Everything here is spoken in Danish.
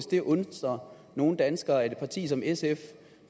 det undrer nogle danskere at et parti som sf